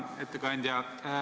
Hea ettekandja!